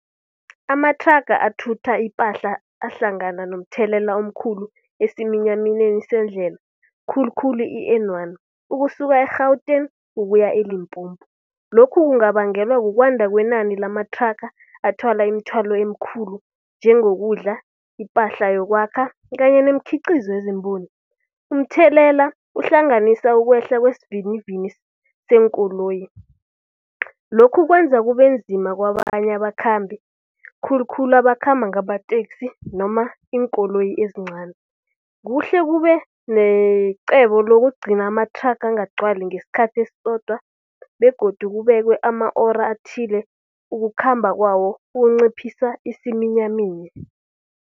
Amathraga athutha ipahla ahlangana nomthelela omkhulu esiminyaminyeni sendlela khulukhulu i-N one, ukusuka e-Gauteng ukuya eLimpompo. Lokhu kungabangelwa kukwanda kwenani lamathraga athwala imthwalo emikhulu njengokudla, ipahla yokwakha kanye nemikhiqizo . Umthelela uhlanganisa ukwehla kwesivinini seenkoloyi, lokhu kwenza kube nzima kwabanye abakhambi. Khulukhulu abakhamba ngamateksi noma iinkoloyi ezincani. Kuhle kube necebo lokugcina amathraga angagcwali ngesikhathi esisodwa begodu kubekwe ama-ora athile ukukhamba kwawo kunciphisa isiminyaminya.